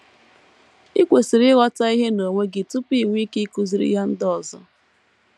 I kwesịrị ịghọta ihe n’onwe gị tupu i nwee ike ịkụziri ya ndị ọzọ.